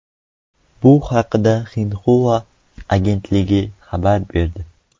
Bu haqda Xinhua agentligi xabar berdi .